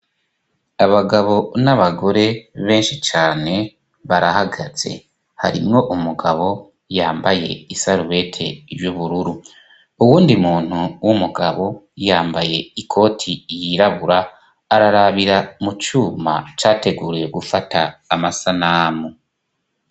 Abagabo n'abagore benshi cane barahagaze. Harimwo umugabo yambaye isarubete y'ubururu. Uwundi muntu w'umugabo yambaye ikoti yirabura ararabira mu cuma categuriye gufata amasanamu.